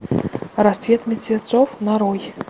рассвет мертвецов нарой